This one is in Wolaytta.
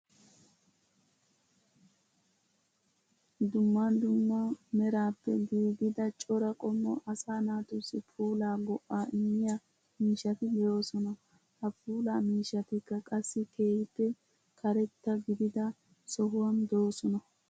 Duummaa duummaa merappe giggidaa coora qommoo asaa naatusi puulla go7a immiyaa miishshati de7osona. Ha puullaa miishshatikka qassi keehippe kareetta gidida sohuwan dosonaa